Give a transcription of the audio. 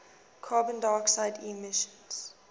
carbon dioxide emissions